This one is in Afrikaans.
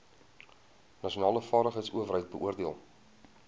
nasionale vaardigheidsowerheid beoordeel